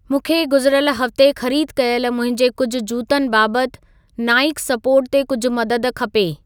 मूंखे गुज़रियल हफ़्ते ख़रीद कयल मुंहिंजे कुझु जूतनि बाबत नाइकसपोर्ट ते कुझु मदद खपे